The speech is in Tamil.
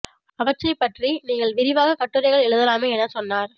அவற்றைப் பற்றி நீங்கள் விரிவாக கட்டுரைகள் எழுதலாமே எனச் சொன்னார்